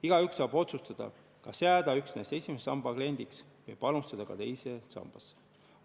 Igaüks saab otsustada, kas jääda üksnes esimese samba kliendiks või panustada ka teise sambasse.